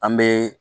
An bɛ